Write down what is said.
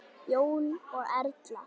Jón og Erla.